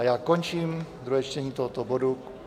A já končím druhé čtení tohoto bodu.